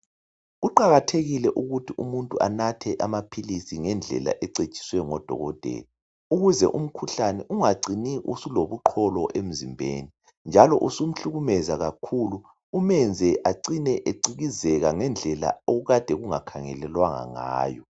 Kuqakathekile ukuthi umuntu anathe amaphilisi ngendlela ecetshiswe ngodokotela. Ukuze umkhuhlane ungacini usulobuqolo emzimbeni ,njalo usumhlukumeza kakhulu .Umenze acine ecikizeka ngendlela okukade kungakhangelelwanga ngayo.